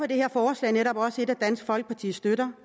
det her forslag netop også et dansk folkeparti støtter